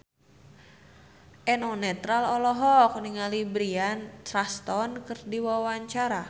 Eno Netral olohok ningali Bryan Cranston keur diwawancara